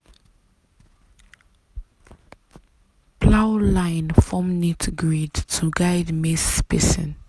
plow line form neat grid to guide maize spacing.